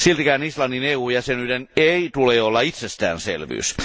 Siltikään Islannin EU jäsenyyden ei tule olla itsestäänselvyys.